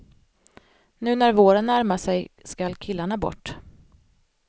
Nu när våren närmar sig skall killarna bort.